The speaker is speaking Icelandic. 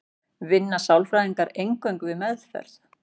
Vinna sálfræðingar eingöngu við meðferð?